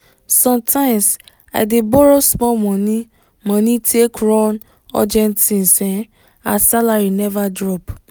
sometimes i dey borrow small money money take run urgent things um as salary never drop.